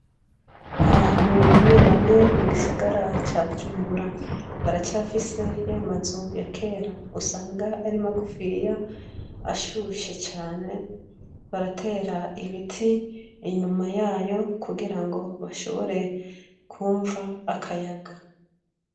Abantu bamwe bamwe mu gisagara ca Bujumbura, baracafise yamazu ya kera usanga ari magugfiya ashushe cane, baratera ibiti inyuma yayo kugira ngo bashobre kwumva akaya.